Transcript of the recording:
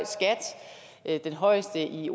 skat den højeste i